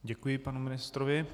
Děkuji panu ministrovi.